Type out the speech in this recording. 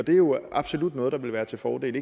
jo absolut noget der ville være til fordel